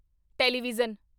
television